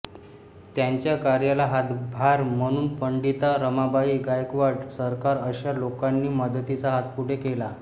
त्यांच्या कार्याला हातभार म्हणून पंडिता रमाबाई गायकवाड सरकार अशा लोकांनी मदतीचा हात पुढे केला